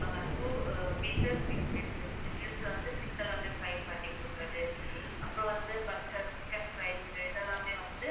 two features fish இருக்கு இந்த meals ல வந்து fish எல்லாமே find பண்ணி கொடுக்குறது. அப்புறம் வந்து burger chicken fries இதெல்லாமே வந்து